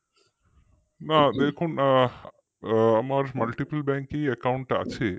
না দেখুন আমার multiplebank ই account আছে